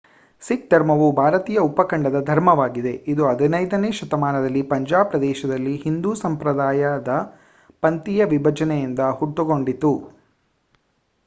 ಸಿಖ್ ಧರ್ಮವು ಭಾರತೀಯ ಉಪಖಂಡದ ಧರ್ಮವಾಗಿದೆ ಇದು 15 ನೇ ಶತಮಾನದಲ್ಲಿ ಪಂಜಾಬ್ ಪ್ರದೇಶದಲ್ಲಿ ಹಿಂದೂ ಸಂಪ್ರದಾಯದ ಪಂಥೀಯ ವಿಭಜನೆಯಿಂದ ಹುಟ್ಟಿಕೊಂಡಿತು